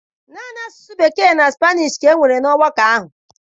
Naanị asụsụ Bekee na Spanish ka e kwere na ọgbakọ ahụ.